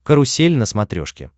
карусель на смотрешке